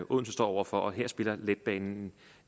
odense står over for og her spiller letbanen